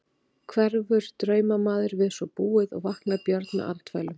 Hverfur draumamaður við svo búið og vaknar Björn upp með andfælum.